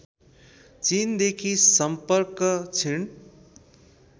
चिनदेखि सम्पर्क क्षिण